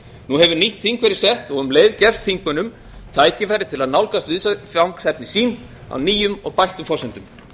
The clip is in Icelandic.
nú hefur nýtt þing verið sett og um leið gefst þingmönnum tækifæri til að nálgast viðfangsefni sín á nýjum og bættum forsendum